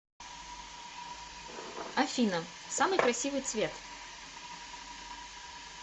афина самый красивый цвет